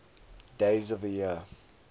days of the year